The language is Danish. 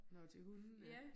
Nåh til hundene